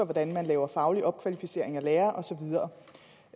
hvordan man laver faglig opkvalificering af lærere og